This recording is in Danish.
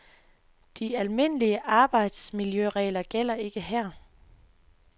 De almindelige arbejdsmiljøregler gælder ikke her.